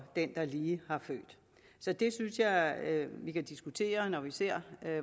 den der lige har født så det synes jeg at vi kan diskutere når vi ser